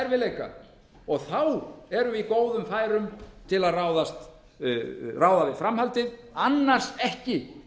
erfiðleika og þá erum við í góðum færum til að ráða við framhaldið annars ekki